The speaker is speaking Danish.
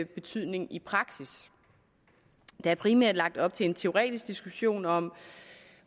betydning i praksis der er primært lagt op til en teoretisk diskussion om